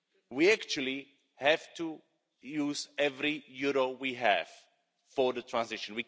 We actually have to use every euro we have for the transition.